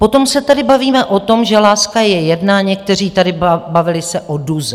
Potom se tady bavíme o tom, že láska je jedna, někteří tady bavili se o duze.